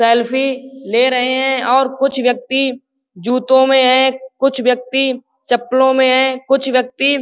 Selfie ले रहे हैं और कुछ व्यक्ति जूतों में हैं। कुछ व्यक्ति चप्पलो में हैं। कुछ व्यक्ति --